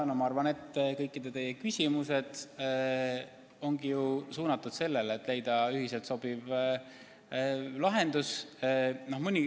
Ma arvan, et teie kõikide küsimused ongi suunatud sellele, et leida ühiselt sobiv lahendus.